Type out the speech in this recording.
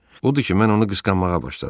Odur ki, mən onu qısqanmağa başladım.